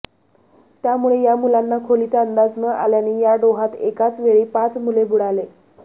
त्यामुळे या मुलांना खोलीचा अंदाज न आल्याने या डोहात एकाच वेळी पाच मुले बुडाले